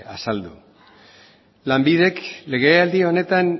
azaldu lanbidek legealdi honetan